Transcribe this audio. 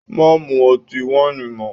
Má mú ọtí wáìnì mọ́!